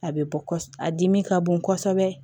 A bɛ bɔ kɔsɔbɛ a dimi ka bon kosɛbɛ